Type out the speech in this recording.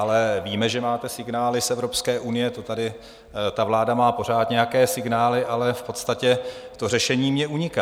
Ale víme, že máte signály z Evropské unie, to tady ta vláda má pořád nějaké signály., ale v podstatě to řešení mně uniká.